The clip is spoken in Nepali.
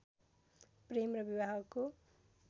प्रेम र विवाहको